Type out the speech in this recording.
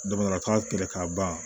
Damankan kɛlɛ ka ban